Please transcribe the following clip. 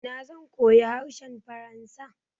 Ina zan koyi harshen faransa?